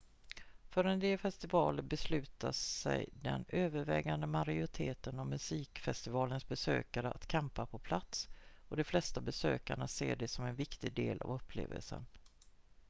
för en del festivaler beslutar sig den övervägande majoriteten av musikfestivalens besökare att campa på plats och de flesta besökare ser det som en viktig del av upplevelsen